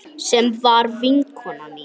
Sem var vinkona mín.